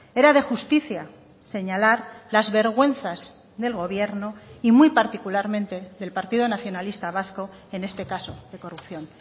era de justicia señalar las vergüenzas del gobierno y muy particularmente del partido nacionalista vasco en este caso de corrupción